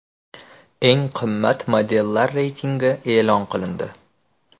Eng qimmat modellar reytingi e’lon qilindi.